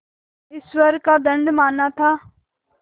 ईश्वर का दंड माना था